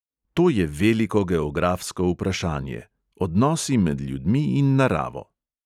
To je veliko geografsko vprašanje: odnosi med ljudmi in naravo.